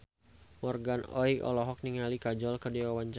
Morgan Oey olohok ningali Kajol keur diwawancara